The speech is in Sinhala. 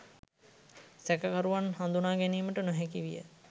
සැකකරුවත් හඳුනාගැනීමට නොහැකි විය.